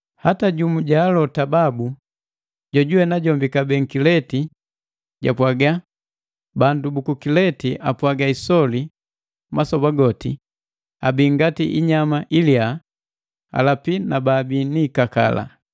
Hata jumu ja alota babu, jojuwe najombi kabee Nkilete, japwaga, “Bandu buku Kilete apwaga isoli masoba goti abii ngati inyama iliyaa, alapi na baabii ni ikakala!”